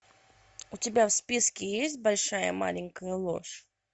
у тебя в списке есть большая маленькая ложь